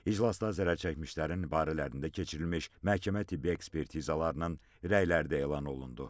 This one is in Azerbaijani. İclasda zərərçəkmişlərin barələrində keçirilmiş məhkəmə-tibbi ekspertizalarının rəyləri də elan olundu.